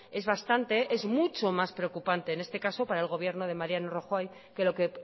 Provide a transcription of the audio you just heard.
es bastante es mucho más preocupante en este caso para el gobierno de mariano rajoy que lo que